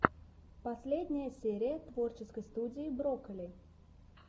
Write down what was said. последняя серия творческой студии брокколи